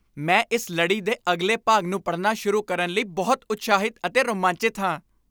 ਮੈਂ ਇਸ ਲੜੀ ਦੇ ਅਗਲੇ ਭਾਗ ਨੂੰ ਪੜਨਾ ਸ਼ੁਰੂ ਕਰਨ ਲਈ ਬਹੁਤ ਉਤਸ਼ਾਹਿਤ ਅਤੇ ਰੋਮਾਂਚਿਤ ਹਾਂ!